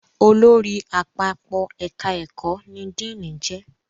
Olórí Àpapọ̀ ẹ̀ka ẹ̀kọ́ ní Díìnì jẹ́